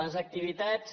les activitats